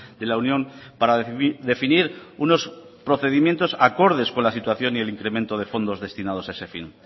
de la unión para definir unos procedimientos acordes con la situación y el incremento de fondos destinados a ese fin